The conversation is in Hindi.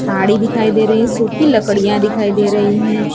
गाड़ी दिखाई दे रही है सूखी लकडियां दिखाई दे रही हैं।